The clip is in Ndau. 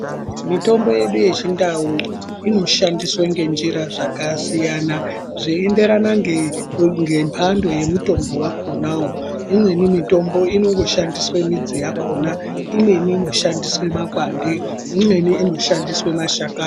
Mutombo yedu yechindau inoshandiswe ngenjira zvakasiyana zveienderana nge ngemhando yemutombo wakhonawo imweni mitombo inondoshandiswe midzi yakhona imweni inoshandiswe makwande imweni inoshandiswe mashakani.